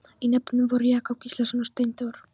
Í nefndinni voru Jakob Gíslason og Steinþór